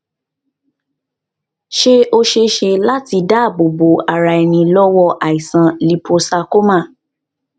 ṣé ó ṣeé ṣe láti dáàbò bo ara ẹni lọwọ aisan líposarcoma